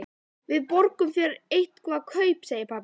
Við borgum þér eitthvert kaup, segir pabbi.